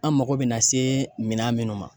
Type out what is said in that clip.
An mako bina se minɛn minnu ma